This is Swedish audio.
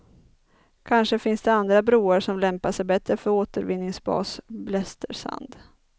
Kanske finns det andra broar som lämpar sig bättre för återvinningsbas blästersand.